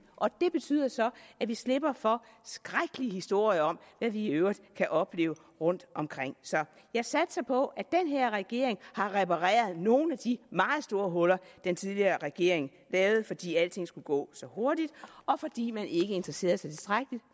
og det betyder så at vi slipper for skrækkelige historier om hvad vi i øvrigt kan opleve rundtomkring så jeg satser på at den her regering har repareret nogle af de meget store huller den tidligere regering lavede fordi alting skulle gå så hurtigt og fordi man ikke interesserede sig tilstrækkeligt